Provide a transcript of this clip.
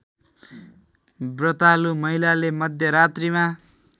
व्रतालु महिलाले मध्यरात्रिमा